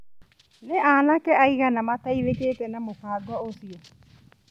Nĩ anake aigana mateithĩkĩte na mũbango ũcio?